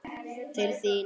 Til þín.